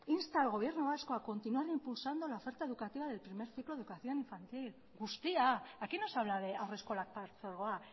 insta al gobierno vasco a continuar impulsando la oferta educativa del primer ciclo de educación infantil guztia aquí no se habla de haurreskolak partzuergoa